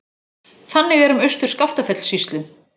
Þannig er um Austur-Skaftafellssýslu.